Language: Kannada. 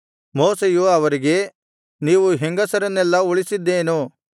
ಮೋಶೆಯು ಅವರಿಗೆ ನೀವು ಹೆಂಗಸರನ್ನೆಲ್ಲಾ ಉಳಿಸಿದ್ದೇನು